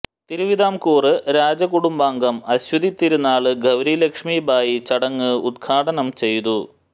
തിരുവിതാംകൂര് രാജകുടുംബാംഗം അശ്വതി തിരുനാള് ഗൌരി ലക്ഷ്മിബായി ചടങ്ങ് ഉദ്ഘാടനം ചെയ്തു